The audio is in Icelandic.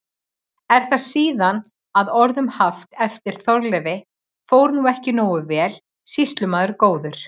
Er það síðan að orðum haft eftir Þorleifi: Fór nú ekki nógu vel, sýslumaður góður?